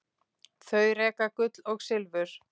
Þau reka Gull og silfur.